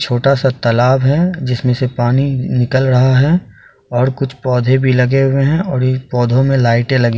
छोटा सा तालाब है जिसमें से पानी निकल रहा है और कुछ पौधे भी लगे हुए है और यह पौधों में लाइट लगी--